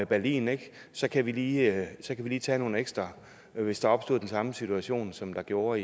berlin ikke så kan vi lige lige tage nogle ekstra hvis der opstod den situation som der gjorde